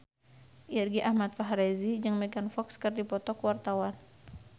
Irgi Ahmad Fahrezi jeung Megan Fox keur dipoto ku wartawan